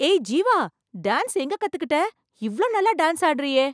ஏய், ஜீவா டான்ஸ் எங்க கத்துக்கிட்ட இவ்வளவு நல்லா டான்ஸ் ஆடுறியே!